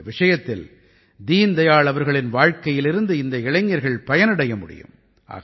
இந்த விஷயத்தில் தீன் தயாள் அவர்களின் வாழ்க்கையிலிருந்து இந்த இளைஞர்கள் பயனடைய முடியும்